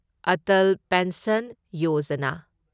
Atal pension Yojana